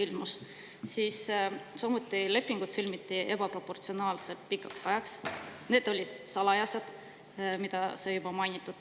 Samuti sõlmiti lepingud ebaproportsionaalselt pikaks ajaks, need olid salajased, nagu sai juba mainitud.